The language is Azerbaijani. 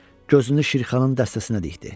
Gözünü Şirxanın dəstəsinə dikdi.